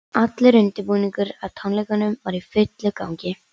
Allur undirbúningur að tónleikunum var í fullum gangi.